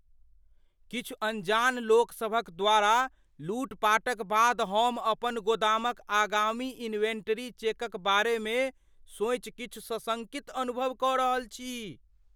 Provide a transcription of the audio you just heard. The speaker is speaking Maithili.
किछु अनजान लोक सभक द्वारा लूटपाटक बाद हम अपन गोदामक आगामी इन्वेंटरी चेकक बारे मे सोचि किछु सशंकित अनुभव कऽ रहल छी।